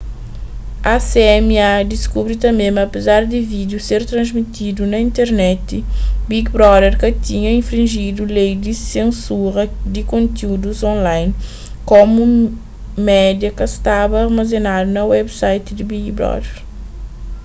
acma diskubri tanbê ma apezar di vídiu ser transmitidu na internet big brother ka tinha infrinjidu lei di sensura di kontiúdus online komu media ka staba armazenadu na website di big brother